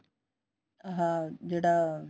ਆਹ ਜਿਹੜਾ